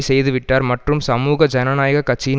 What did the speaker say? செய்துவிட்டார் மற்றும் சமூக ஜனநாயக கட்சியின்